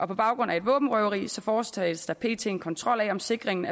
på baggrund af et våbenrøveri foretages der pt en kontrol af om sikringen